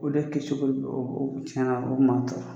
O de kɛcogo o o tiɲɛna o bi maa tɔɔrɔ.